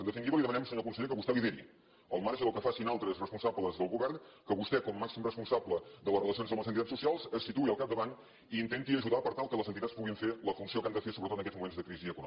en definitiva li demanem senyor conseller que vostè lideri al marge del que facin altres responsables del govern que vostè com a màxim responsable de les relacions amb les entitats socials es situï al capdavant i intenti ajudar per tal que les entitats puguin fer la funció que han de fer sobretot en aquests moments de crisi econòmica